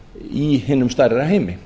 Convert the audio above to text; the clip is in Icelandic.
í hinum stærri heimi